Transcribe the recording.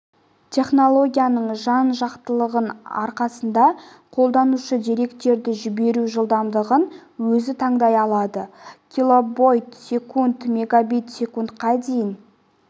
технологиясының жан-жақтылығының арқасында қолданушы деректерді жіберу жылдамдығын өзі таңдай алады килобит секунд мегабит секундқа дейін